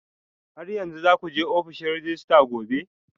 Har yanzu za ku je ofishin rejista gobe?